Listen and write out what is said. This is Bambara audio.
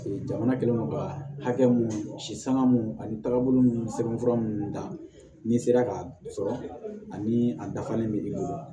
Jamana kɛlen don ka hakɛ mun si sanga mun ani taabolo sɛbɛnfura minnu da n'i sera ka sɔrɔ ani a dafalen bɛ i bolo